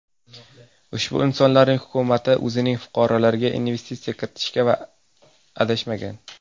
Ushbu insonlarning hukumati o‘zining fuqarolariga investitsiya kiritishgan va adashmagan.